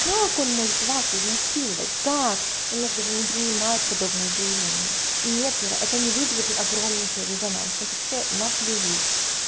как он может вас изнасиловать как у нас даже не принимают подобные заявления и нет ира это не вызовет огромнейший резонанс на это все на плюют